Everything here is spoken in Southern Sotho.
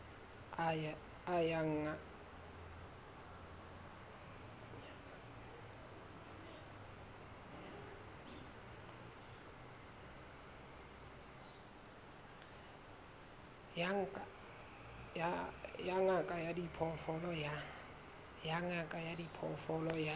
ya ngaka ya diphoofolo ya